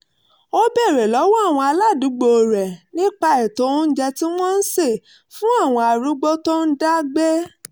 ó béèrè lọ́wọ́ àwọn aládùúgbò rẹ̀ nípa ètò oúnjẹ tí wọ́n ń ṣe fún àwọn arúgbó tó ń dá gbé